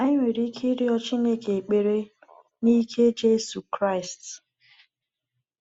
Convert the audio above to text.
Anyị nwere ike ịrịọ Chineke ekpere n’ike Jésù Kraịst.